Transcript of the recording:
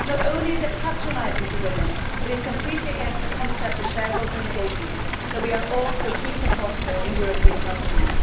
Not only is it patronising to women, it is completely against the concept of shareholder engagement that we are all so keen to foster in European companies.